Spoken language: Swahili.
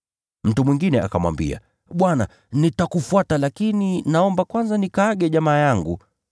Mtu mwingine akamwambia, “Bwana, nitakufuata lakini naomba kwanza nikawaage jamaa yangu.”